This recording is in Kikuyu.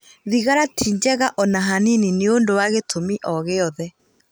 Thigara ti njega o na hanini nĩ ũndũ wa gĩtũmi o gĩothe